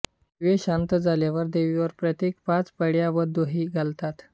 दिवे शांत झाल्यावर देवीवर प्रत्येकी पाच पळ्या दूध व दही घालतात